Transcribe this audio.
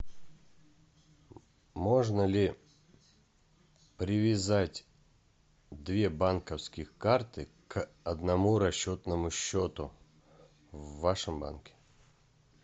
можно ли привязать две банковских карты к одному расчетному счету в вашем банке